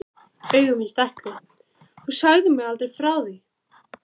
Augu mín stækkuðu: Þú sagðir mér aldrei frá því!